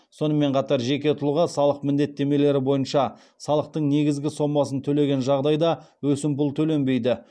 сонымен қатар жеке тұлға салық міндеттемелері бойынша салықтың негізгі сомасын төлеген жағдайда өсімпұл төленбейді